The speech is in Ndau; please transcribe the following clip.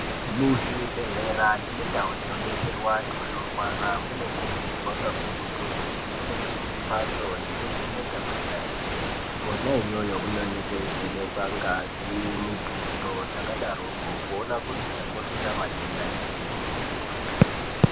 Muzvibhedhlera nemundau dsinodetserwa antu anorwara munokurursirwa kakurutu kuti munge mune mhatso yekuvheneka kwesainzi kwona iyoyo kunenge kweivhenekwa ngazi mutundo zvakadaroko kuona kuti chakonzera matenda chiinyi.